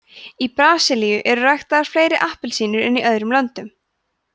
í brasilíu eru ræktaðar fleiri appelsínur en í öðrum löndum